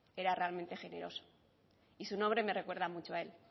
era realmente generoso y su nombre me recuerda mucho a él